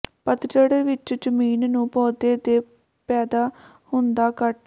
ਪਤਝੜ ਵਿਚ ਜ਼ਮੀਨ ਨੂੰ ਪੌਦੇ ਦੇ ਪੈਦਾ ਹੁੰਦਾ ਕੱਟ